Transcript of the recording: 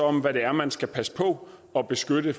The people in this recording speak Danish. om hvad det er man skal passe på og beskytte